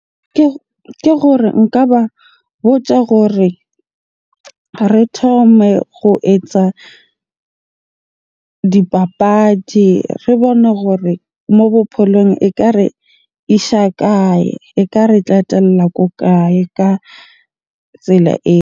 Ke gore nka ba botsa gore re thome ho etsa dipapadi. Re bone hore mo bophelong ekare isha kae? Eka qetella ko kae ka tsela eo?